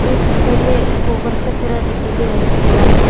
ये पिक्चर में गोबर की तरह दिखाई दे रहे फैला के।